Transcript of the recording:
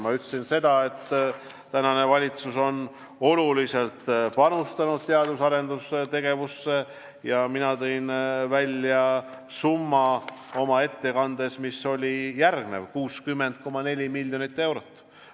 Ma ütlesin, et tänane valitsus on oluliselt panustanud teadus- ja arendustegevusse, ja tõin oma ettekandes välja summa – 60,4 miljonit eurot.